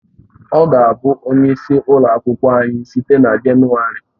Ọ ga-abụ onye isi ụlọ akwụkwọ anyị site na Jenụwarị